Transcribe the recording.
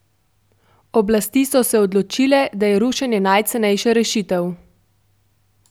Oblasti so se odločile, da je rušenje najcenejša rešitev.